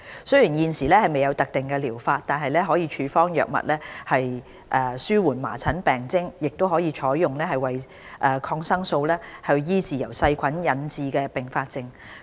雖然現時未有特定療法，但可處方藥物紓緩麻疹病徵，亦可採用抗生素醫治由細菌引致的併發症。